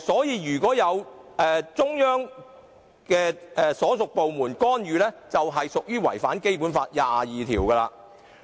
如果中央所屬部門干預，便違反了《基本法》第二十二條。